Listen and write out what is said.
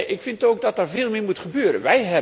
Ik vind ook dat er veel meer moet gebeuren.